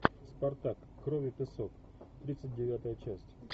спартак кровь и песок тридцать девятая часть